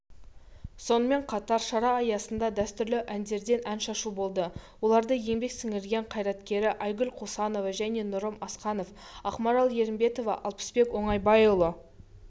сонымен қатар шара аясында дәстүрлі әндерден ән шашу болды оларды еңбек сіңірген қайраткеріайгүл қосанова және нұрым асқанов ақмарал ерімбетова алпысбек оңайбайұлы